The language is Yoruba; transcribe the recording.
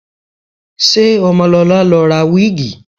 Ṣé Ọmọlọlá lọ ra wíìgì?